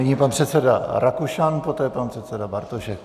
Nyní pan předseda Rakušan, poté pan předseda Bartošek.